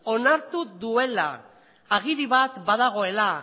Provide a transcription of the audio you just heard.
onartu duela agiri bat badagoela